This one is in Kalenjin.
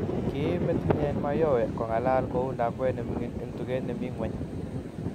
kiim metitnyen Mayowe ak kong'alal kou lakwet nemining eng tuget nemi ng'weny